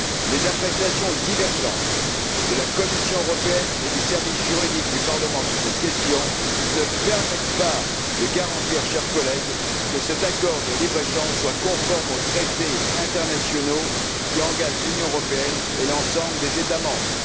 Les appréciations divergentes de la Commission européenne et du service juridique du Parlement sur cette question ne permettent pas de garantir, chers collègues, que cet accord de libre échange soit conforme aux traités internationaux qui engagent l'Union européenne et l'ensemble des États membres.